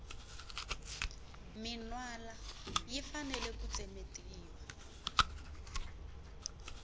minwala yi fanele ku tsemetiwa